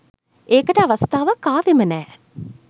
ඒකට අවස්ථාවක් ආවෙම නෑ.